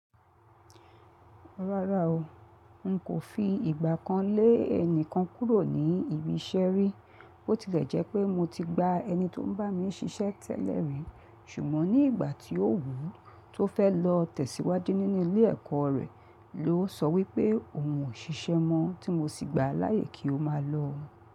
Rárá o, n kò fi ìgbà kan lé ẹnìkan kúrò ní ibi iṣẹ́ rí. Bó tilẹ̀ jẹ́ pé mo ti gba ẹni tó ń bá mi ṣiṣẹ́ tẹ́lẹ̀ rí, ṣùgbọ́n ní ìgbà tí ó wù ú tó fẹ́ lọ tẹ̀síwájú nínú ilé ẹ̀kọ́ rẹ̀ ló sọ wípé òun ò ṣiṣẹ́ mọ́, tí mo sì gbà á láyè kí ó máa lọ.